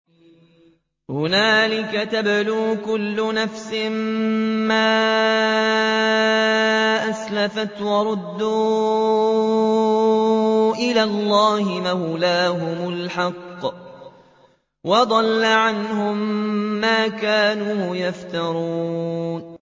هُنَالِكَ تَبْلُو كُلُّ نَفْسٍ مَّا أَسْلَفَتْ ۚ وَرُدُّوا إِلَى اللَّهِ مَوْلَاهُمُ الْحَقِّ ۖ وَضَلَّ عَنْهُم مَّا كَانُوا يَفْتَرُونَ